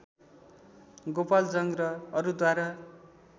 गोपाल जंग र अरूद्वारा